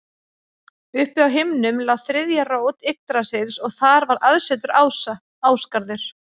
Uppi á himnum lá þriðja rót Yggdrasils og þar var aðsetur ása, Ásgarður.